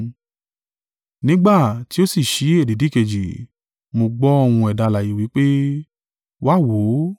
Nígbà tí ó sì ṣí èdìdì kejì, mo gbọ́ ohùn ẹ̀dá alààyè wí pé, “Wá, wò ó!”